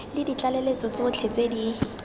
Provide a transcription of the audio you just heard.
le ditlaleletso tsotlhe tse di